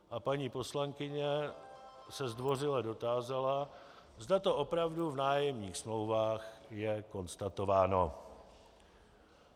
A paní poslankyně se zdvořile dotázala, zda to opravdu v nájemních smlouvách je konstatováno.